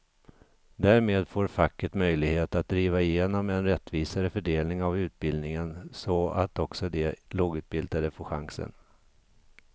Därmed får facket möjlighet att driva igenom en rättvisare fördelning av utbildningen så att också de lågutbildade får chansen.